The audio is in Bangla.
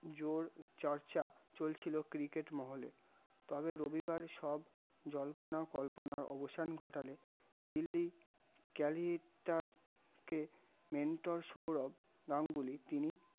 জোর চর্চা চলছিল cricket মহলে, তবে রবিবার সব জল্পনা কল্পনা অবসান ঘটালে দিল্লি calicuts কে mentor সৌরভ নামগুলি তিনি